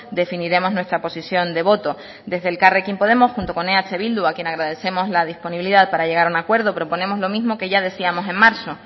definiremos nuestra posición de voto desde elkarrekin podemos junto con eh bildu a quien agradecemos la disponibilidad para llegar a un acuerdo proponemos lo mismo que ya decíamos en marzo